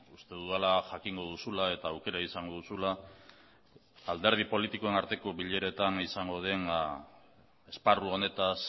uste dudala jakingo duzula eta aukera izango duzula alderdi politikoen arteko bileretan izango den esparru honetaz